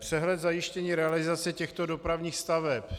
Přehled zajištění realizace těchto dopravních staveb.